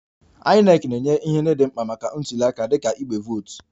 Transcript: INEC na-enye ihe ndị dị mkpa maka ntuliaka dịka igbe vootu